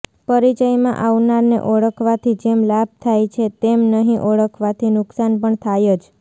પરિચયમાં આવનારને ઓળખવાથી જેમ લાભ થાય છે તેમ નહિ ઓળખવાથી નુકસાન પણ થાય જ